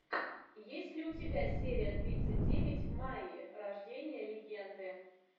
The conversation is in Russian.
есть ли у тебя серия тридцать девять майя рождение легенды